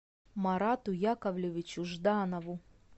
марату яковлевичу жданову